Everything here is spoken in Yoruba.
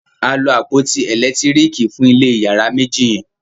a lo àpótí elekitiriki fun ilé iyàrá méjì yen.